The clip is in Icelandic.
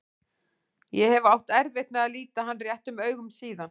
Ég hef átt erfitt með að líta hann réttum augum síðan.